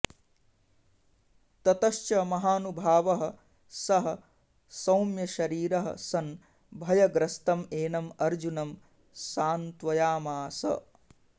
ततश्च महानुभावः सः सौम्यशरीरः सन् भयग्रस्तम् एनम् अर्जुनं सान्त्वयामास